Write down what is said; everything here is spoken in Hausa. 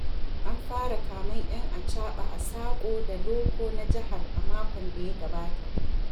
An fara kamen 'yan achaɓa a saƙo da loko na jihar a makon da ya gabata.